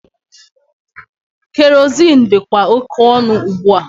Kerozin dịkwa oke ọnụ ugbua.